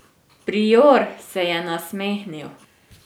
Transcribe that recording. Prior se je nasmehnil.